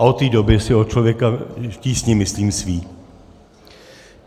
A od té doby si o Člověku v tísni myslím své.